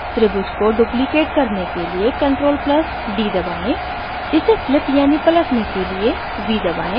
त्रिभुज को duplicate करने के लिए ctrl + d दबाएं इसे flip यानि पलटने के लिए v दबाएं